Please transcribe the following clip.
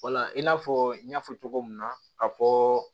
i n'a fɔ n y'a fɔ cogo min na ka fɔɔ